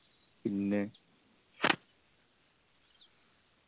പിന്നെ